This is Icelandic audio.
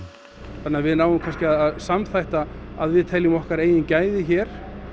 þannig að við náum kannski að samþætta að við teljum okkar eigin gæði hér